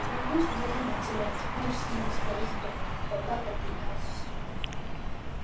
we use remaining materials build small storage store for back of the house